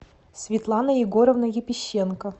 светлана егоровна епищенко